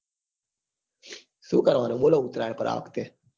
શું કરવા નું બોલો ઉતરાયણ પર આ વખતે